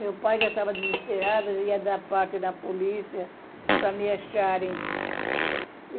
Meu pai já estava desesperado, já ia dar parte da polícia para me acharem.